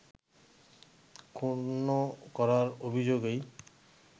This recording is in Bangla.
ক্ষুন্ন করার অভিযোগেই